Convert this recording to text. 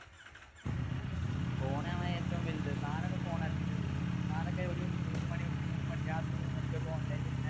phone ആണ് ഏറ്റവും വലുത്. താനൊക്കെ phone addict അല്ലേ. താനൊക്കെ ഒരു മൂന്നുമണി, മൂന്നുമണി രാത്രി മൂന്നു മണിക്ക് ഒക്കെ online ല്‍ ഇരിക്കണ